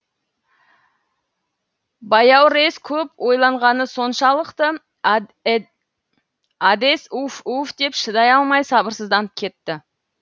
баяурес көп ойланғаны соншалықты әдес уф уф деп шыдай алмай сабырсызданып кетті